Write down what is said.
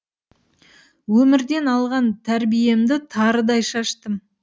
өмірден алған тәрбиемді тарыдай шаштым